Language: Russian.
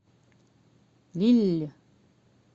лилль